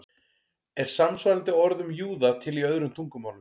Er samsvarandi orð um júða til í öðrum tungumálum?